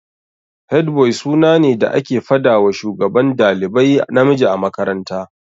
Headboy suna ne da ake fadawa Shugaban dalibai namiji a makaranta.